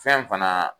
Fɛn fana